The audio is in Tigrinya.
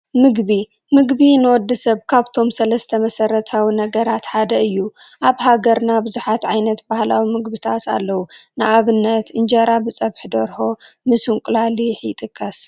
ምግቢ፡- ምግቢ ንወዲ ሰብ ካብቶም 3 መሰረታዊ ነገራት ሓደ እዩ፡፡ ኣብ ሃገርና ብዙሓት ዓይነት ባህላዊ ምግብታት ኣለው፡፡ ንኣብነት እንጀራ ብፀብሒ ደርሆ ምስ እንቁላሊሕ ይጥቀስ፡፡